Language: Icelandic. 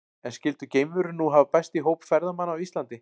En skyldu geimverur nú hafa bæst í hóp ferðamanna á Íslandi?